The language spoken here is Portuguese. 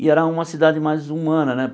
E era uma cidade mais humana né.